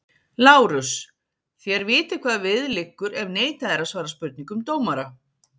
LÁRUS: Þér vitið hvað við liggur ef neitað er að svara spurningum dómara?